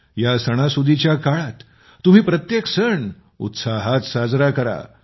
या सणासुदीच्या काळात तुम्ही प्रत्येक सण उत्साहात साजरा करा